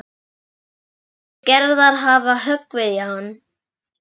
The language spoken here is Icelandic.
Veikindi Gerðar hafa höggvið í hann.